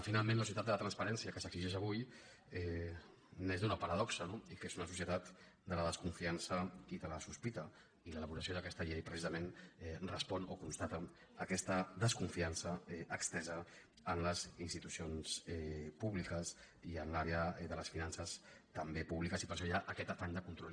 finalment la societat de la transparència que s’exigeix avui neix d’una paradoxa no dic que és una societat de la desconfiança i de la sospita i l’elaboració d’aquesta llei precisament respon o constata aquesta desconfiança estesa en les institucions públiques i en l’àrea de les finances també públiques i per això hi ha aquest afany de control